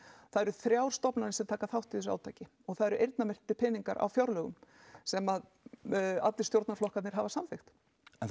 það eru þrjár stofnanir sem taka þátt í þessu átaki og það eru eyrnamerktir peningar á fjárlögum sem að allir stjórnarflokkarnir hafa samþykkt það